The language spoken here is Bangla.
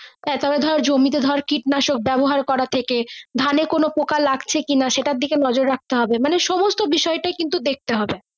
তবে ধরে জমি তে ধরে কীটনাশক ব্যবহার করা থেকে ধানে কোনো পোকা লাগছে কি না সেটার দিকে নজর রাখতে হবে মানে সমস্ত বিষয় টা কিন্তু দেখতে হবে।